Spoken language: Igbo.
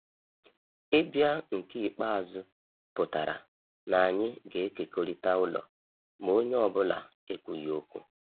Ịbịa nke ikpeazụ pụtara na anyị ga-ekekọrịta ụlọ, ma onye ọ bụla ekwughị okwu.